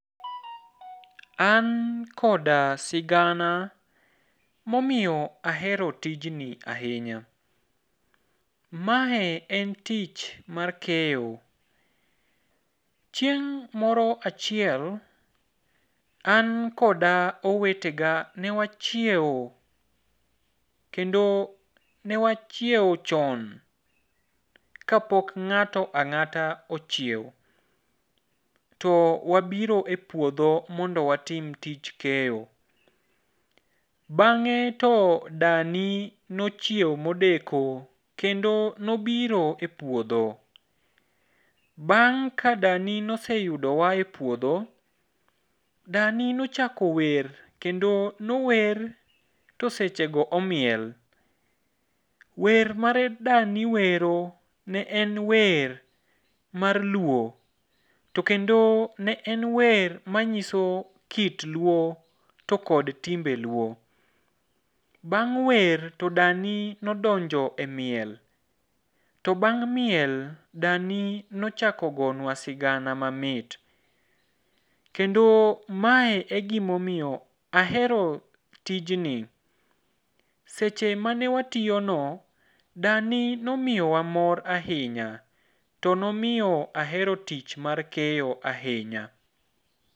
An koda sigana momiyo ahero tijni ahinya. Mae en tich mar keyo. Chieng' moro achiel, an koda owetega newachieo kendo newachieo chon kapok ng'ato ang'ata ochieo. To wabiro e puodho mondo watim tich keyo. Bang'e to dani nochieo modeko, kendo nobiro e puodho. Bang' ka dani noseyudowa e puodho, dani nochako wer kendo nower to sechego omiel. Wer mane dani wero ne en wer mar luo, to kendo ne en wer manyiso kit luo to kod timbe luo. Bang' wer to dani nodonjo e miel. To bang' miel, dani nochako gonwa sigana mamit. Kendo mae e gimomiyo ahero tijni. Seche mane watiyono dani nomiyowa mor ahinya, to nomiyo ahero tich mar keyo ahinya.